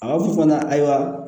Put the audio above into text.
A b'a fɔ fana ayiwa